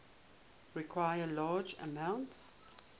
require large amounts